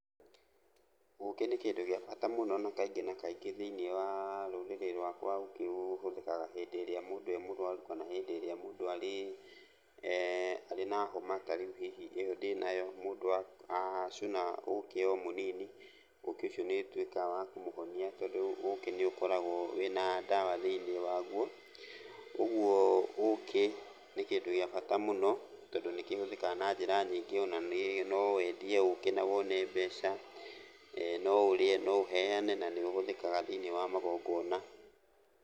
Ũkĩ nĩ kĩndũ gĩa bata mũno na kaingĩ na kaingĩ thĩiniĩ wa rũrĩrĩ rwakwa ũkĩ ũhũthĩkaga hĩndĩ ĩrĩa mũndũ e mũrwaru kana hĩndĩ ĩrĩa mũndũ arĩ, arĩ na homa, tarĩu hihi ĩyo ndĩnayo, mũndũ acũna ũkĩ o mũnini, ũkĩ ũcio nĩũtuĩkaga wa kũmũhonia tondũ ũkĩ nĩũkoragwo wĩna ndawa thĩiniĩ waguo, ũguo ũkĩ nĩ kĩndũ gĩa bata mũno tondũ nĩkĩhũthĩkaga na njĩra nyingĩ ona no wendie ũkĩ na wone mbeca, no ũrĩe, no ũheane, na nĩũhũthĩkaga thĩiniĩ wa magongona.